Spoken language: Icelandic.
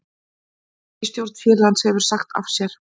Ríkisstjórn Sýrlands hefur sagt af sér